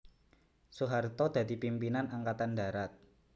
Soeharto dadi pimpinan Angkatan Darat